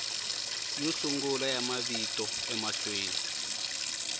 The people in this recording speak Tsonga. yo sungula ya mavito emahlweni